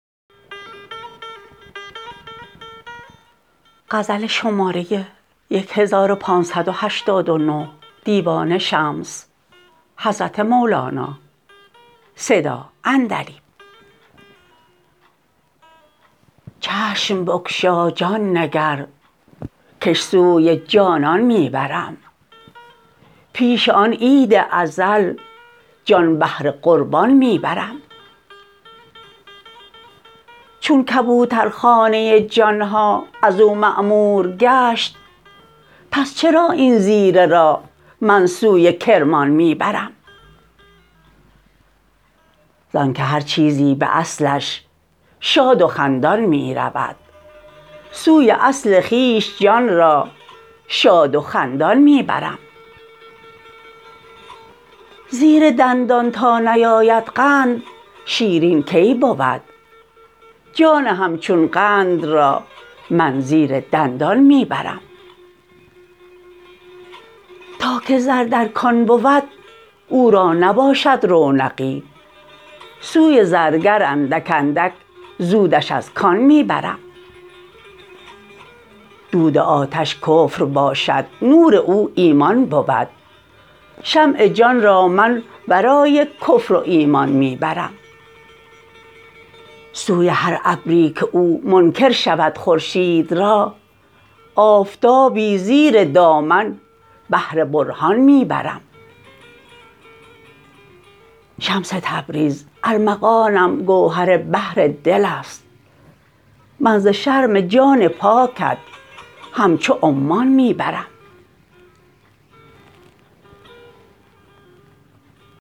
چشم بگشا جان نگر کش سوی جانان می برم پیش آن عید ازل جان بهر قربان می برم چون کبوترخانه جان ها از او معمور گشت پس چرا این زیره را من سوی کرمان می برم زانک هر چیزی به اصلش شاد و خندان می رود سوی اصل خویش جان را شاد و خندان می برم زیر دندان تا نیاید قند شیرین کی بود جان همچون قند را من زیر دندان می برم تا که زر در کان بود او را نباشد رونقی سوی زرگر اندک اندک زودش از کان می برم دود آتش کفر باشد نور او ایمان بود شمع جان را من ورای کفر و ایمان می برم سوی هر ابری که او منکر شود خورشید را آفتابی زیر دامن بهر برهان می برم شمس تبریز ارمغانم گوهر بحر دل است من ز شرم جان پاکت همچو عمان می برم